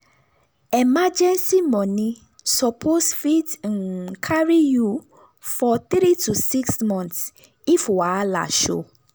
emergency money suppose fit um carry you for 3 to 6 months if wahala show.